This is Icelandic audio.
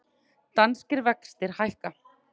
Danskir vextir hækka